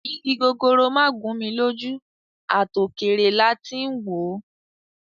Igi gogoro má gún mi lójú, à tò kèrè la tí ń wò ó